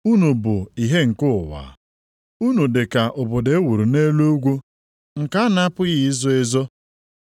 “Unu bụ ihe nke ụwa. Unu dị ka obodo e wuru nʼelu ugwu nke a na-apụghị izo ezo.